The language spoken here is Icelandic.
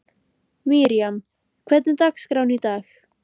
Miriam, hvernig er dagskráin í dag?